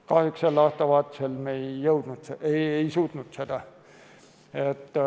Kahjuks sel aastavahetusel me ei suutnud seda.